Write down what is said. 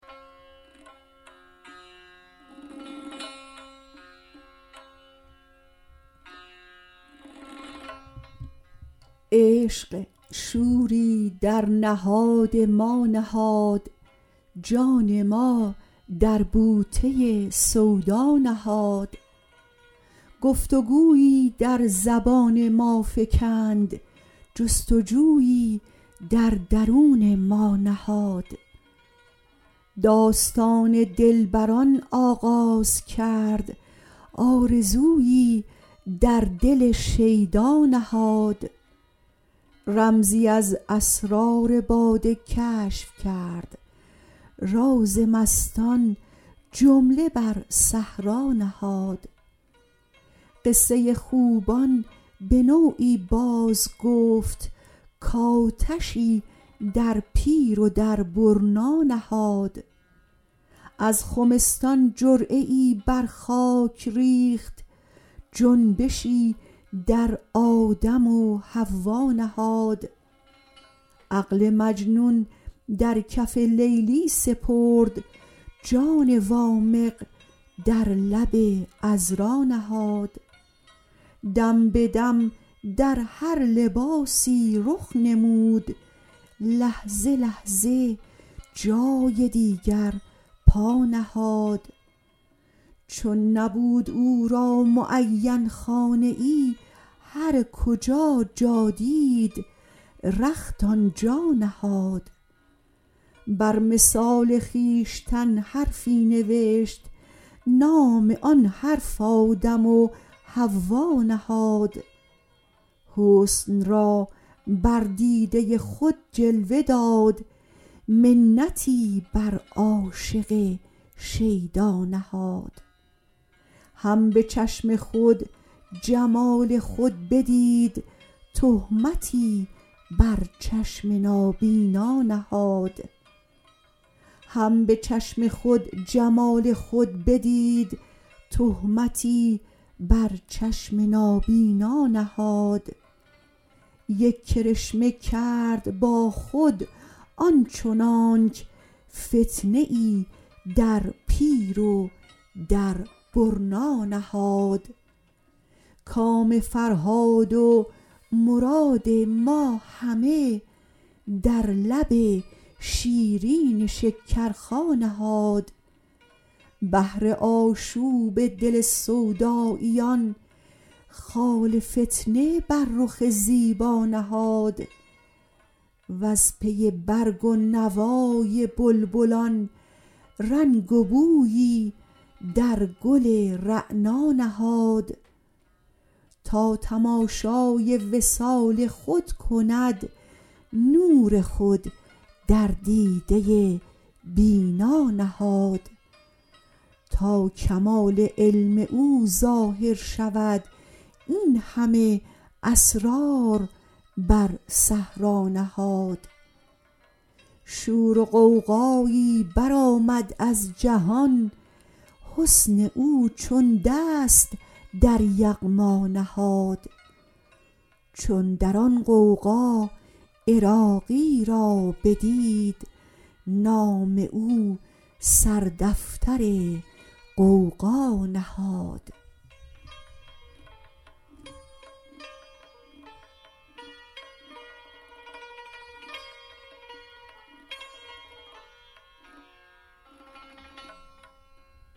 عشق شوری در نهاد ما نهاد جان ما در بوته سودا نهاد گفتگویی در زبان ما فکند جستجویی در درون ما نهاد داستان دلبران آغاز کرد آرزویی در دل شیدا نهاد رمزی از اسرار باده کشف کرد راز مستان جمله بر صحرا نهاد قصه خوبان به نوعی باز گفت کآتشی در پیر و در برنا نهاد از خمستان جرعه ای بر خاک ریخت جنبشی در آدم و حوا نهاد عقل مجنون در کف لیلی سپرد جان وامق در لب عذرا نهاد دم به دم در هر لباسی رخ نمود لحظه لحظه جای دیگر پا نهاد چون نبود او را معین خانه ای هر کجا جا دید رخت آنجا نهاد بر مثال خویشتن حرفی نوشت نام آن حرف آدم و حوا نهاد حسن را بر دیده خود جلوه داد منتی بر عاشق شیدا نهاد هم به چشم خود جمال خود بدید تهمتی بر چشم نابینا نهاد یک کرشمه کرد با خود آنچنانک فتنه ای در پیر و در برنا نهاد کام فرهاد و مراد ما همه در لب شیرین شکرخا نهاد بهر آشوب دل سوداییان خال فتنه بر رخ زیبا نهاد وز پی برگ و نوای بلبلان رنگ و بویی در گل رعنا نهاد تا تماشای وصال خود کند نور خود در دیده بینا نهاد تا کمال علم او ظاهر شود این همه اسرار بر صحرا نهاد شور و غوغایی برآمد از جهان حسن او چون دست در یغما نهاد چون در آن غوغا عراقی را بدید نام او سر دفتر غوغا نهاد